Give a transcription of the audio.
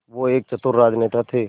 वो एक चतुर राजनेता थे